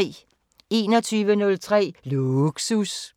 21:03: Lågsus